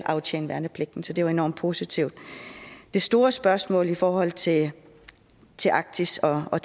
at aftjene værnepligten så det er jo enormt positivt det store spørgsmål i forhold til til arktis og og